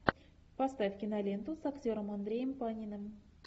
поставь киноленту с актером андреем паниным